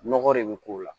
Nɔgɔ de bɛ k'o la